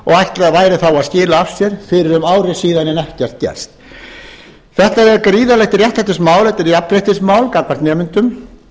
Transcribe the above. og væri þá að skila af sér fyrir um ári síðan en ekkert gert þetta er gríðarlegt réttlætismál þetta er jafnréttismál gagnvart nemendum